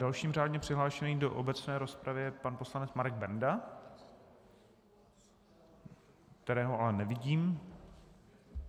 Dalším řádně přihlášeným do obecné rozpravy je pan poslanec Marek Benda - kterého ale nevidím.